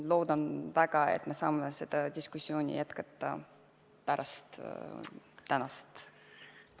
Loodan väga, et me saame seda diskussiooni jätkata pärast tänast istungit.